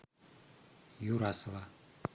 юрасова